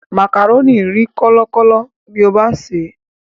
Màkàrónì rí kọ́lọkọ̀lọ tí o bá sèé.